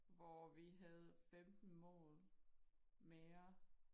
Hvor vi havde 15 mål mere